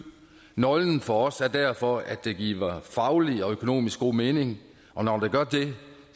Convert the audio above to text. nøglen for os er derfor at det giver faglig og økonomisk god mening og når